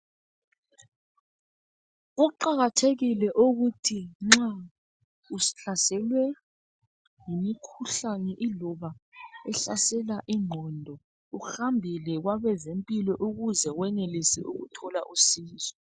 Kuqakathekile ukuthi nxa uhlaselwe ngumkhuhlane iloba wahlasela ingqondo uhambe kwabezempilo ukuze wenelise ukuthola usizo.